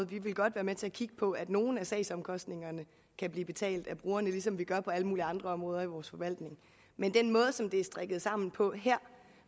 vi vil godt være med til at kigge på at nogle af sagsomkostningerne kan blive betalt af brugerne ligesom vi gør på alle mulige andre områder i vores forvaltning men den måde som det her er strikket sammen på